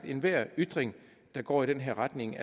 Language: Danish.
enhver ytring der går i den her retning